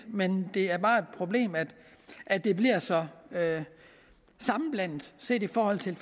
men det er bare et problem at det bliver så sammenblandet set i forhold til